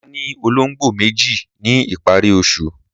Mà á ní olóńgbò méjì ní ìparí oṣù.